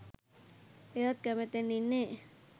එයත් කැමැත්තෙන් ඉන්නේ